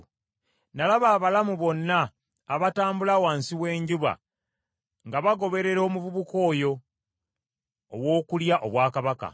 Nalaba abalamu bonna abatambula wansi w’enjuba nga bagoberera omuvubuka oyo ow’okulya obwakabaka.